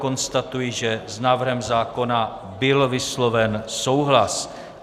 Konstatuji, že s návrhem zákona byl vysloven souhlas.